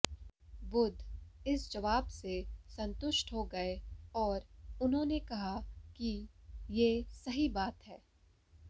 बुद्ध इस जवाब से संतुष्ट हो गए और उन्होंने कहा कि ये सही बात है